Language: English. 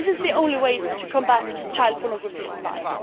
This is the only way to combat child pornography on line.